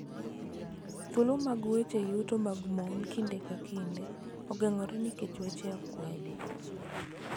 Thuolo mag weche yuto mag mon kinde ka kinde ogeng�ore nikech akwede,